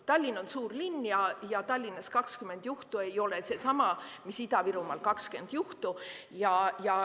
Tallinn on suur linn ja Tallinnas 20 juhtu ei ole seesama, mis Ida-Virumaal 20 juhtu.